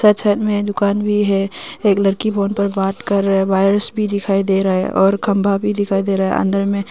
side में दुकान भी है एक लड़की फ़ोन पर बात कर रहा है वायर्स भी दिखाई दे रहा हैं और खम्बा भी दिखाई दे रहा है अंदर में--